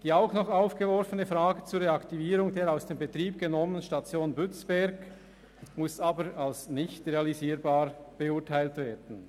Die ebenfalls aufgeworfene Frage nach der Reaktivierung der ausser Betrieb genommenen Station Bützberg muss aber als nicht realisierbar beurteilt werden.